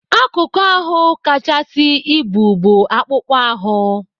Akụkụ ahụ kachasị ibu bụ akpụkpọ ahụ.